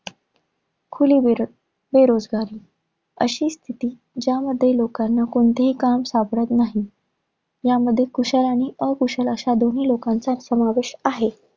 खुली बेर~ बेरोजगारी. अशी स्थिती, ज्यामध्ये लोकांना कोणतेही काम सापडत नाही. यामध्ये कुशल आणि अकुशल अशा दोन्ही लोकांचा समावेश आहे.